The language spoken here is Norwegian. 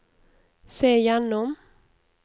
se gjennom